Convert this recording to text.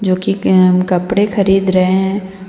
जो कि ऐ कपड़े खरीद रहे है।